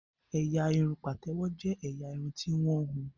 Ẹ̀yà irun pátèwọ jé ẹyà Irun ti wón hùn.